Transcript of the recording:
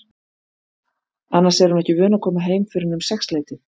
Annars er hún ekki vön að koma heim fyrr en um sexleytið.